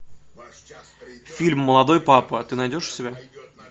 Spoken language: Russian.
фильм молодой папа ты найдешь у себя